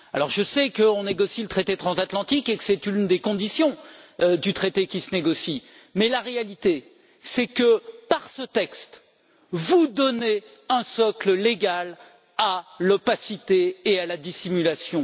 Je sais qu'on négocie le traité transatlantique et que c'est une des conditions du traité qui se négocie, mais la réalité, c'est que, par ce texte, vous donnez un socle légal à l'opacité et à la dissimulation.